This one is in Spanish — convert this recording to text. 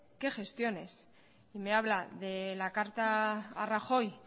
qué gestiones y me habla de la carta a rajoy